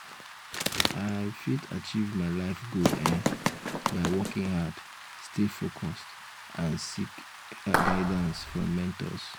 i um fit achieve my life goal um by working hard stay focused and seek guidance um from mentors.